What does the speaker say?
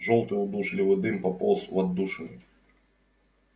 жёлтый удушливый дым пополз в отдушины